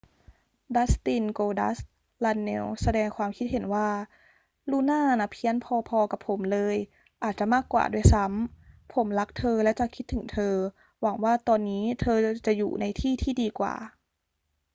ดัสติน โกลดัสต์ รันเนลส์ แสดงความคิดเห็นว่า ลูน่าน่ะเพี้ยนพอ ๆ กับผมเลย...อาจจะมากกว่าด้วยซ้ำ...ผมรักเธอและจะคิดถึงเธอ...หวังว่าตอนนี้เธอจะอยู่ในที่ที่ดีกว่า